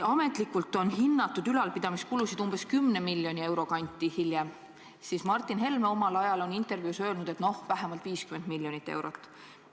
Ametlikult on ülalpidamiskulud hinnatud umbes 10 miljoni euro kanti, seevastu Martin Helme on omal ajal intervjuus öelnud, et noh, kulub vähemalt 50 miljonit eurot.